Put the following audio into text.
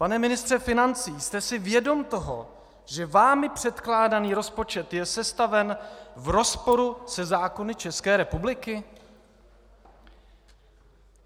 Pan ministře financí, jste si vědom toho, že vámi předkládaný rozpočet je sestaven v rozporu se zákony České republiky?